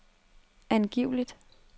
angiveligt